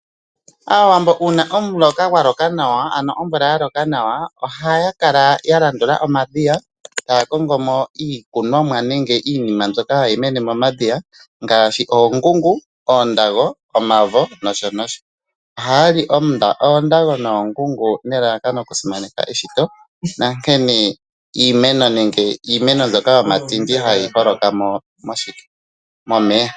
Aawambo uuna omuloka gwa loka nawa ano omvula ya loka nawa ohaya kala ya landula omadhiya taya kongomo iikunomwa nenge iinima mbyoka hayi mene momadhiya ngaashi oongungu, omavo oondago nosho tuu. Ohayali oondago noongungu nelalakano oku simaneka eshito nonkene iimeno mbyoka yomatindi hayi holokamo momeya.